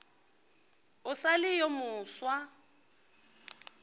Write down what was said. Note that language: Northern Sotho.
o sa le yo mofsa